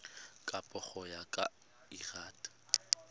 kabo go ya ka lrad